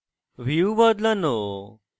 view বদলানো